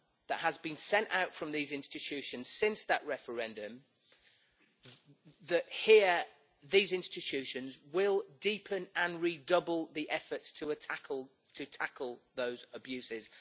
that has been sent out from these institutions since the referendum that here, these institutions will deepen and re double the efforts to tackle those abuses.